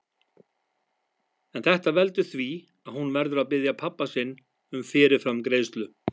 En þetta veldur því að hún verður að biðja pabba sinn um fyrirframgreiðslu.